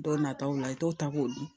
Dɔ nataw la i t'o ta k'o dun